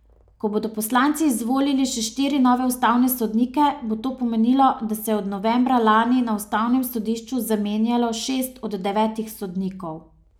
Ko bodo poslanci izvolili še štiri nove ustavne sodnike, bo to pomenilo, da se je od novembra lani na ustavnem sodišču zamenjalo šest od devetih sodnikov.